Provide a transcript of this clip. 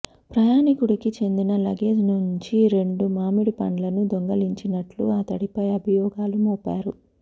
ప్రయాణికుడికి చెందిన లగేజ్ నుంచి రెండు మామిడిపండ్లను దొంగలించినట్లు అతడిపై అభియోగాలు మోపారు